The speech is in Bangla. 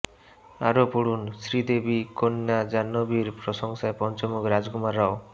আরও পড়ুনঃ শ্রীদেবী কন্য়া জাহ্নবীর প্রশংসায় পঞ্চমুখ রাজকুমার রাও